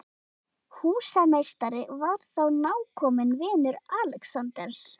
Húsameistari var þá nákominn vinur Alexanders